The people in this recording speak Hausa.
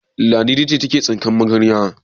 Ladidi ce take tsinkar magarya.